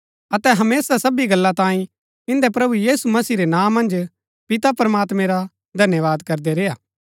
अतै हमेशा सबी गल्ला तांई इन्दै प्रभु यीशु मसीह रै नां मन्ज पिता प्रमात्मैं रा धन्यवाद करदै रेय्आ